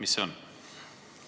Mis see on?